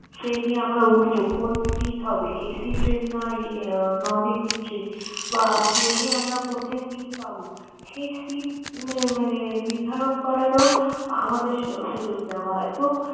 train এ আমরা উঠবো, কোন seat হবে, AC না Non AC train বা plane এ আমরা কোথায় seat পাব, সেই seat আহ মানে নির্ধারণ করারও আমাদের সুযোগ দেওয়া হয়। তো